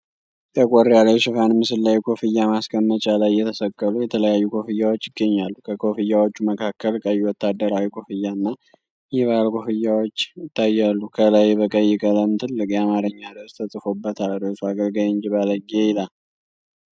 ጠቆር ያለ የሽፋን ምስል ላይ፣ ኮፍያ ማስቀመጫ ላይ የተሰቀሉ የተለያዩ ኮፍያዎች ይገኛሉ። ከኮፍያዎቹ መካከል ቀይ ወታደራዊ ኮፍያ እና የባህል ኮፍያዎች ይታያሉ። ከላይ በቀይ ቀለም ትልቅ የአማርኛ ርዕስ ተጽፎበታል፣ ርዕሱ አገልጋይ እንጂ ባለጌ ይላል።